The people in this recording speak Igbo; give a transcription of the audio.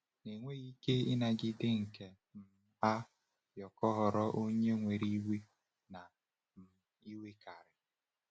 Na enweghị ike ịnagide nke um a, Yoko ghọrọ onye nwere iwe na um iwekarị.